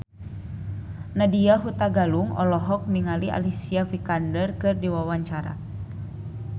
Nadya Hutagalung olohok ningali Alicia Vikander keur diwawancara